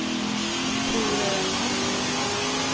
Tor Öman